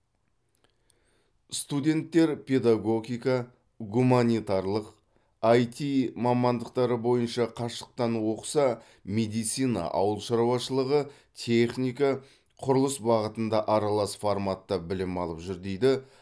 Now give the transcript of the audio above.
студенттер педагогика гуманитарлық іт мамандықтары бойынша қашықтан оқыса медицина ауыл шаруашылығы техника құрылыс бағытында аралас форматта білім алып жүр дейді